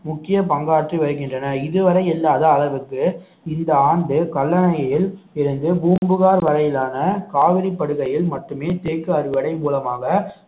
முக்கிய பங்காற்றி வருகின்றன இதுவரை இல்லாத அளவுக்கு இந்த ஆண்டு கல்லணையில் இருந்து பூம்புகார் வரையிலான காவிரிப்படுகையில் மட்டுமே தேக்கு அறுவடை மூலமாக